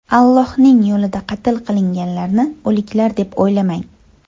Allohning yo‘lida qatl qilinganlarni o‘liklar deb o‘ylamang!